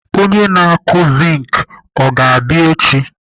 Onye na-akụ zink ọ ga-abịa echi?